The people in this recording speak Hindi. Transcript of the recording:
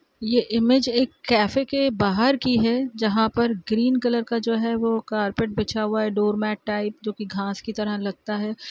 ये इमेज एक कैफ के बाहर की है जहाँ पर ग्रीन कलर का जो है वो कार्पेट बिछा हुआ है डोरमैट टाइप जो कि घास की तरह लगता है।